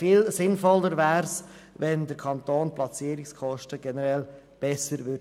Viel sinnvoller wäre es, wenn der Kanton Platzierungskosten generell besser steuern würde.